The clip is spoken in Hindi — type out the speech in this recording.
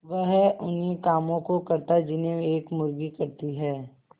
वह उन्ही कामों को करता जिन्हें एक मुर्गी करती है